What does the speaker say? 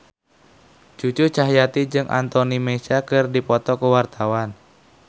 Cucu Cahyati jeung Anthony Mackie keur dipoto ku wartawan